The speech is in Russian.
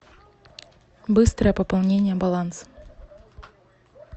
быстрое пополнение баланса